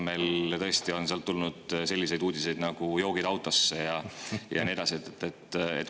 Selle asemel on tulnud selliseid uudiseid nagu "joogid autosse" ja nii edasi.